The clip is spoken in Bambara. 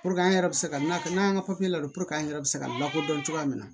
an yɛrɛ bɛ se ka na n'an ka ladon an yɛrɛ bɛ se ka lakodɔn cogoya min na